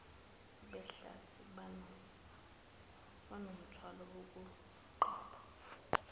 behlathi banomthwalo wokuqapha